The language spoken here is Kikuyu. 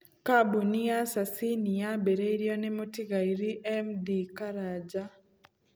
Kambuni ya Sasini yaambĩrĩirio nĩ mũtigairĩ M. D. Karanja.